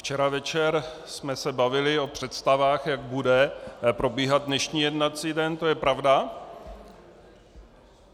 Včera večer jsme se bavili o představách, jak bude probíhat dnešní jednací den, to je pravda.